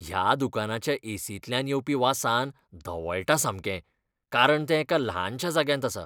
ह्या दुकानाच्या ए. सींतल्यान येवपी वासान धवळटा सामकें कारण तें एका ल्हानशा जाग्यांत आसा.